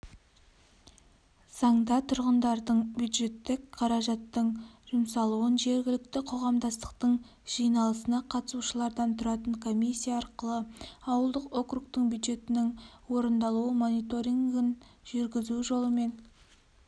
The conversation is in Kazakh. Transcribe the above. заңда тұрғындардың бюджеттік қаражаттың жұмсалуын жергілікті қоғамдастықтың жиналысына қатысушылардан тұратын комиссия арқылы ауылдық округтің бюджетінің орындалуы мониторингін жүргізу жолымен